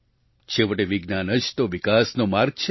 છેવટે વિજ્ઞાન જ તો વિકાસનો માર્ગ છે